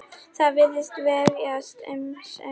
Það virðist vefjast fyrir sumum.